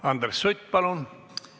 Andres Sutt, palun!